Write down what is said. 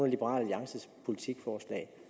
liberal alliances politikforslag